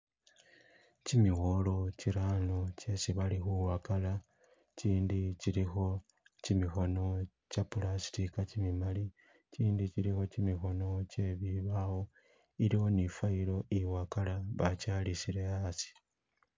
Kimibolo kirano kyesi khabawakala ichindi chilikho chimikhono che plastica chimimali, ichindi chilikho chimikhono che bibawo, iliwo ne file iwakala bachalisile asi.